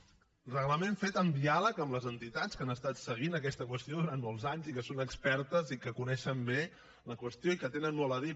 un reglament fet en diàleg amb les entitats que han estat seguint aquesta qüestió durant molts anys que en són expertes i que coneixen bé la qüestió i hi tenen molt a dir